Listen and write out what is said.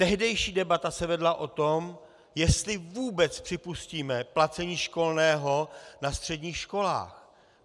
Tehdejší debata se vedla o tom, jestli vůbec připustíme placení školného na středních školách.